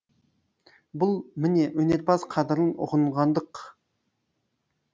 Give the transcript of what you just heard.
бұл міне өнерпаз қадырын ұғынғандық